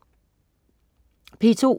P2: